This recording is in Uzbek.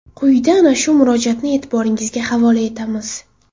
Quyida ana shu murojaatni e’tiboringizga havola etamiz.